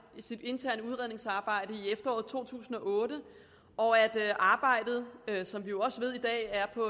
sit interne udredningsarbejde i efteråret to tusind og otte og at arbejdet som vi jo også ved i dag er på